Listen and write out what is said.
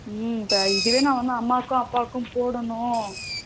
ம் இதுவே நான் வந்து அம்மாவுக்கு அப்பாவுக்கும் போடணும்